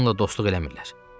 Onunla dostluq eləmirlər.